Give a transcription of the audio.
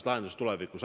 – lahendusest tulevikus.